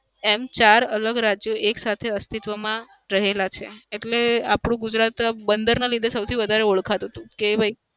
એમ ચાર અલગ રાજ્યો એક સાથે અસ્તિત્વમાં રહેલા છે. એટલે આપડું ગુજરાત બંદરના લીધે સૌથી વધારે ઓળખાતું હતું કે ભાઈ